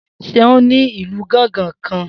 Seun ní ìlù gángan kan